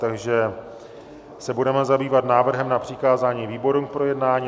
Takže se budeme zabývat návrhem na přikázání výborům k projednání.